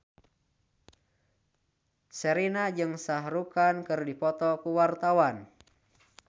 Sherina jeung Shah Rukh Khan keur dipoto ku wartawan